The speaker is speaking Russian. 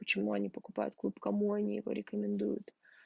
почему они покупают клуб кому они его рекомендуют